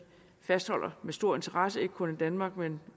fastholder med stor interesse ikke kun i danmark men